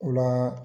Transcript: O la